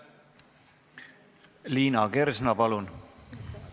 Liina Kersna, palun!